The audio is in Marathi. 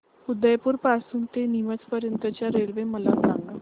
उदयपुर पासून ते नीमच पर्यंत च्या रेल्वे मला सांगा